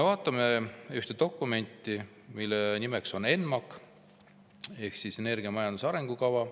Vaatame ühte dokumenti, mille nimeks on ENMAK ehk energiamajanduse arengukava.